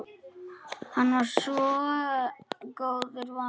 Hann var svo góðu vanur.